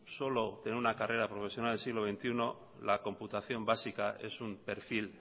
solo en una carrera profesional del siglo veintiuno la computación básica es un perfil